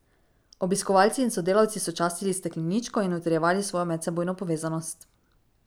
Obiskovalci in sodelavci so častili stekleničko in utrjevali svojo medsebojno povezanost.